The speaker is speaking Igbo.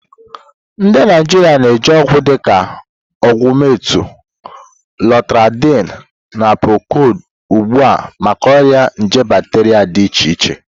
Ndị Naijiria na-eji ọgwụ dịka Ogumentinu, Loratadini, na Procodi ugbu a maka ọrịa nje bacteria dị iche iche